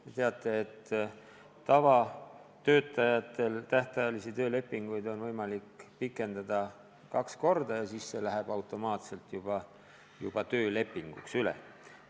Te teate, et tavatöötajatel on tähtajalist töölepingut võimalik pikendada kaks korda ja siis see leping läheb automaatselt juba tavaliseks töölepinguks üle.